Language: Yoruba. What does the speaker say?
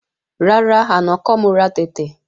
Rárá, àná kọ́ mo ra tẹ̀tẹ̀